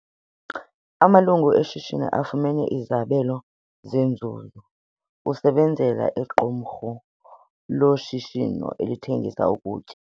Amalungu eshishini afumene izabelo zenzuzo. usebenzela iqumrhu loshishino elithengisa ukutya